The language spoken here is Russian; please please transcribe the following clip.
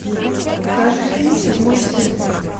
покажи фильм седьмой сын